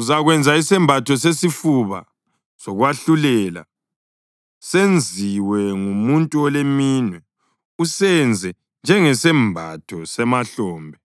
“Uzakwenza isembatho sesifuba sokwahlulela, senziwe ngumuntu oleminwe. Usenze njengesembatho semahlombe: